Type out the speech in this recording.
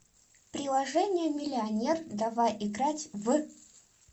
приложение миллионер давай играть в